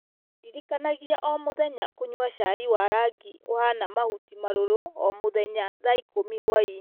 ndirikanagia o mũthenya kũnyua cai wa rangi ũhaana mahuti maruru o mũthenya thaa ikũmi hwaĩ-inĩ